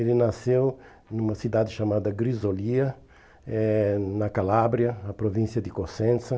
Ele nasceu numa cidade chamada Grisolia, eh na Calábria, na província de Cosenza.